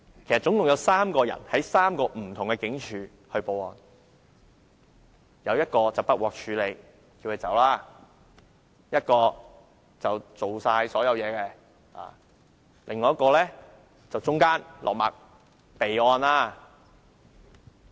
其實共有3個人向3個不同警署報案，一個不受理，叫報案者離開；另一個完成所有程序；最後一個中間落墨，即備案。